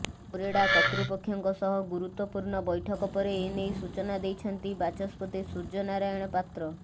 OREDA କର୍ତ୍ତୃପକ୍ଷଙ୍କ ସହ ଗୁରୁତ୍ୱପୂର୍ଣ୍ଣ ବୈଠକ ପରେ ଏନେଇ ସୂଚନା ଦେଇଛନ୍ତି ବାଚସ୍ପତି ସୂର୍ଯ୍ୟ ନାରାୟଣ ପାତ୍ର